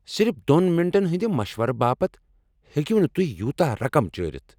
صرف دۄن منٹن ہندِ مشورٕ باپت ہیکو نہٕ تُہۍ یوتاہ رقم چٲرِتھ۔